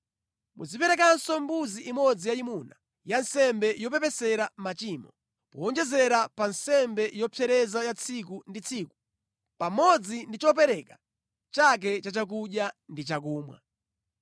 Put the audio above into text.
Muziperekanso mbuzi imodzi yayimuna ya nsembe yopepesera machimo, powonjezera pa nsembe yopsereza ya tsiku ndi tsiku pamodzi ndi chopereka chake cha chakudya ndi chakumwa.